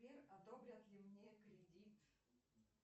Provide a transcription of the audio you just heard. сбер одобрят ли мне кредит